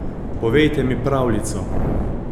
Povejte mi pravljico!